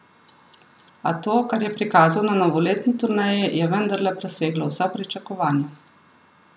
A to, kar je prikazal na novoletni turneji, je vendarle preseglo vsa pričakovanja.